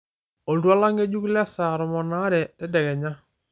oltuala ng'enjuk lesaa tomon oare tedekenya